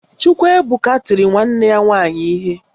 Chukwuebuka tiri nwanne ya nwaanyị ihe